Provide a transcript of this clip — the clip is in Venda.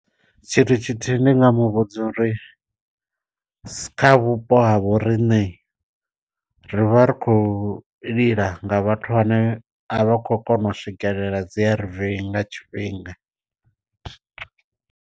Tshithu tshithihi ndi nga mu vhudza uri, sa kha vhupo ha vho riṋe ri vha ri khou lila nga vhathu vhane a vha khou kona u swikelela dzi A_R_V nga tshifhinga.